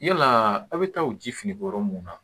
Yala aw bɛ taa u ji fini bɔ yɔrɔ mun na